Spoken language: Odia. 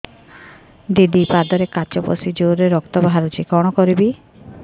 ଦିଦି ପାଦରେ କାଚ ପଶି ଜୋରରେ ରକ୍ତ ବାହାରୁଛି କଣ କରିଵି